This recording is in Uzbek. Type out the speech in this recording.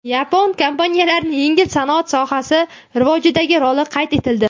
Yapon kompaniyalarining yengil sanoat sohasi rivojidagi roli qayd etildi.